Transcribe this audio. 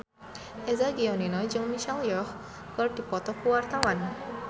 Eza Gionino jeung Michelle Yeoh keur dipoto ku wartawan